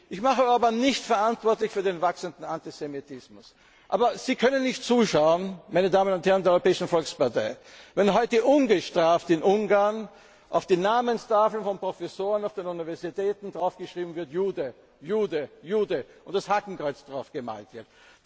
Komitee. Ich mache Orbán nicht verantwortlich für den wachsenden Antisemitismus, aber Sie können nicht zuschauen, meine Damen und Herren der Europäischen Volkspartei, wenn heute ungestraft in Ungarn auf die Namenstafeln von Professoren an Universitäten geschrieben wird Jude, Jude, Jude und das Hakenkreuz draufgemalt